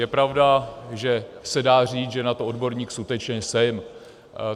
Je pravda, že se dá říct, že na to odborník skutečně jsem.